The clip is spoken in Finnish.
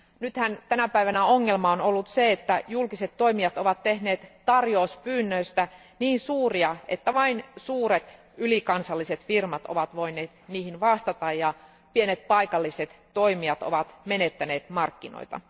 Nythän tänä päivänä ongelmana on ollut se, että julkiset toimijat ovat tehneet tarjouspyynnöistä niin suuria, että vain suuret ylikansalliset firmat ovat voineet niihin vastata ja pienet paikalliset toimijat ovat menettäneet markkinoita.